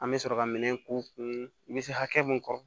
An bɛ sɔrɔ ka minɛn k'u kun i bɛ se hakɛ min kɔ